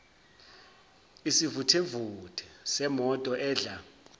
isivuthevuthe semoto edla